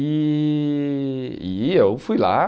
E e eu fui lá.